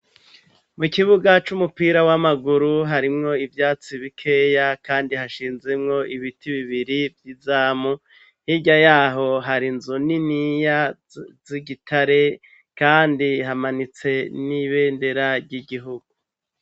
mu kibuga c'umupira w'amaguru harimwo ivyatsi bikeya kandi hashinzemwo ibiti bibiri vy'izamu hirya yaho harinzi niniya z'igitare kandi hamanitse n'ibendera ry'igihugu